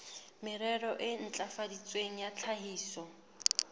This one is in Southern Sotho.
merero e ntlafaditsweng ya tlhahiso